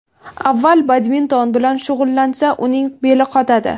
Avval badminton bilan shug‘ullansa, uning beli qotadi.